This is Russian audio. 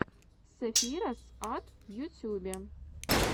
сэфироз ат в ютюбе